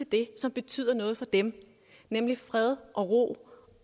det som betyder noget for dem nemlig fred og ro